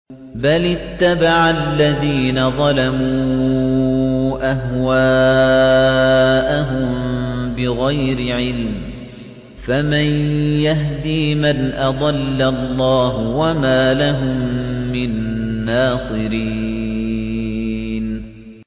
بَلِ اتَّبَعَ الَّذِينَ ظَلَمُوا أَهْوَاءَهُم بِغَيْرِ عِلْمٍ ۖ فَمَن يَهْدِي مَنْ أَضَلَّ اللَّهُ ۖ وَمَا لَهُم مِّن نَّاصِرِينَ